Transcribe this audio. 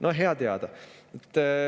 No hea teada.